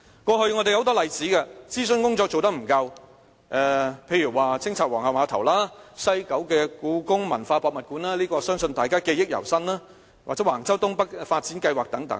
過去有很多諮詢工作不足的例子，例如清拆皇后碼頭、西九香港故宮文化博物館——相信大家對此記憶猶新——又或是橫洲東北發展計劃等。